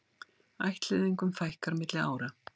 Ættleiðingum fækkar milli ára